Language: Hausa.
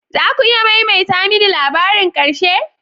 Za ku iya maimaita mini labarin ƙarshe?